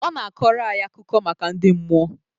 Ọ na-akọrọ anyị akụkọ maka ndị mmụọ